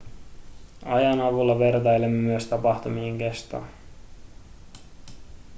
ajan avulla vertailemme myös tapahtumien kestoa